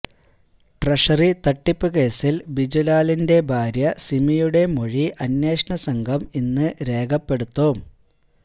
treasury തട്ടിപ്പ് കേസിൽ ബിജുലാലിന്റെ ഭാര്യ സിമിയുടെ മൊഴി അന്വേഷണ സംഘം ഇന്ന് രേഖപ്പെടുത്തും